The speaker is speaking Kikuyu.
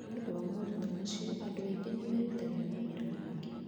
Nĩ ũndũ wa moritũ macio, andũ aingĩ nĩ merutagĩra mawĩra mangĩ.